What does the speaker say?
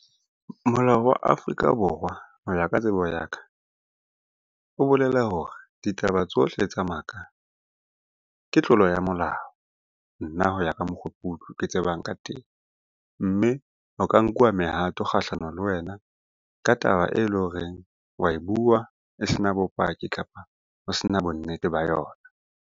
Molao wa Afrika Borwa ho ya ka tsebo ya ka, o bolela hore ditaba tsohle tsa maka ke tlolo ya molao, nna ho ya ka mokgo ke tsebang ka teng. Mme ho ka nkuwa mehato kgahlano le wena ka taba e leng horeng wa e bua e se na bopaki, kapa ho se na bonnete ba yona.